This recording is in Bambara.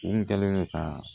U kun kɛlen don ka